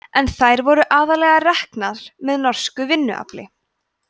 en þær voru aðallega reknar með norsku vinnuafli